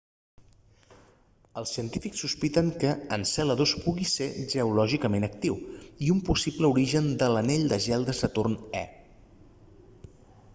els científics sospiten que enceladus pugui ser geològicament actiu i un possible origen de l'anell de gel de saturn e